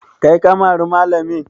Kai ka mari malamin?